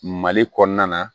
Mali kɔnɔna na